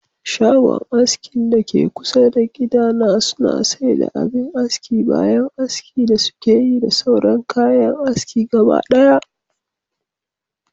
Shagon askin dake kusa da gida na suna saida abin aski bayan aski da sukeyi da sauran kayan aski gabadaya